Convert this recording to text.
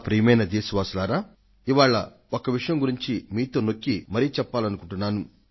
ప్రియమైన నా దేశ వాసులారా ఇవాళ ఒక్క విషయం గురించి మీతో స్పష్టం చేయాలనుకొంటున్నాను